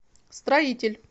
строитель